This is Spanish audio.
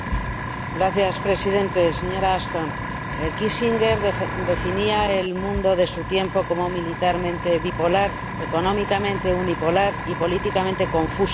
Señor Presidente, señora Ashton, Henry Kissinger definía el mundo de su tiempo como militarmente bipolar, económicamente unipolar y políticamente confuso.